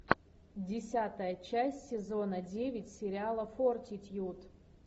десятая часть сезона девять сериала фортитьюд